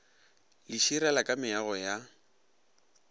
le širela ka meago ya